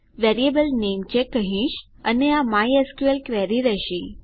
variable name check કહીશ અને આ માયસ્કલ ક્વેરી રહેશે